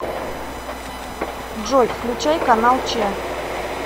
джой включай канал че